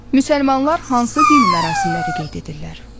Müsəlmanlar hansı dini mərasimləri qeyd edirlər?